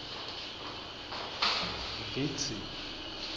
vitsi